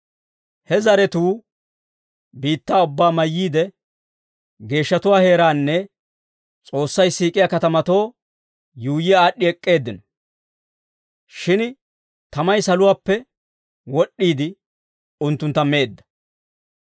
He zaratuu biittaa ubbaa mayyiide geeshshatuwaa heeraanne S'oossay siik'iyaa katamato yuuyyi aad'd'i ek'k'eeddino. Shin tamay saluwaappe wod'd'iide, unttuntta meedda.